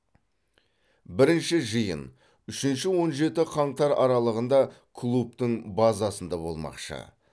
бірінші жиын үшінші он жеті қаңтар аралығында клубтың базасында болмақшы